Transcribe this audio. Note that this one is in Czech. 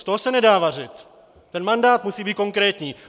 Z toho se nedá vařit, ten mandát musí být konkrétní.